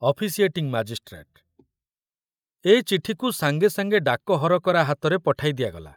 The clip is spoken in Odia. ଅଫିସିଏଟିଙ୍ଗ ମାଜିଷ୍ଟ୍ରେଟ ଏ ଚିଠିକୁ ସାଙ୍ଗେ ସାଙ୍ଗେ ଡାକ ହରକରା ହାତରେ ପଠାଇ ଦିଆଗଲା।